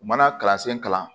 U mana kalansen kalan